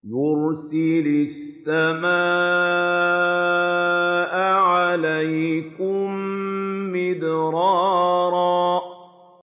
يُرْسِلِ السَّمَاءَ عَلَيْكُم مِّدْرَارًا